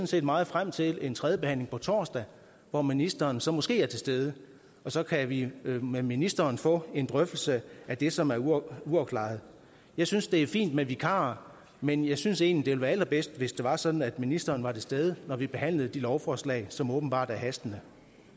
set meget frem til en tredjebehandling på torsdag hvor ministeren så måske er til stede og så kan vi med ministeren få en drøftelse af det som er uafklaret jeg synes det er fint med vikarer men jeg synes egentlig være allerbedst hvis det var sådan at ministeren var til stede når vi behandlede de lovforslag som åbenbart er hastende